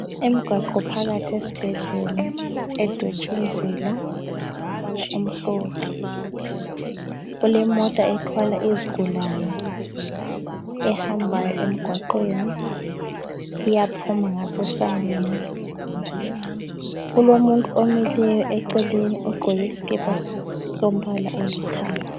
Emgwaqo phakathi esibhedlela edwetshu mzila ngombala omhlophe. Kulemota ethwala izigulane ehamba emgwaqeni iyaphuma ngase sangweni, kulomuntu omileyo eceleni ogqoke isikipa sombala olithanga.